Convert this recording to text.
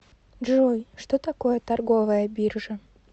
джой что такое торговая биржа